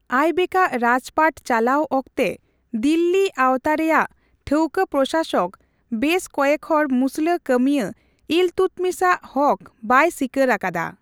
ᱟᱭᱵᱮᱠᱟᱜ ᱨᱟᱡᱽᱯᱟᱴᱪᱟᱞᱟᱣ ᱚᱠᱛᱮ ᱫᱤᱞᱞᱤ ᱟᱣᱛᱟ ᱨᱮᱭᱟᱜ ᱴᱷᱟᱣᱠᱚ ᱯᱨᱚᱥᱟᱥᱚᱠ ᱵᱮᱥ ᱠᱚᱭᱮᱠᱦᱚᱲ ᱢᱩᱥᱞᱟᱹ ᱠᱟᱹᱢᱤᱭᱟᱹ ᱤᱞᱛᱩᱛᱢᱤᱥ ᱟᱜ ᱦᱚᱠ ᱵᱟᱭ ᱥᱤᱠᱟᱹᱨ ᱟᱠᱟᱫᱟ ᱾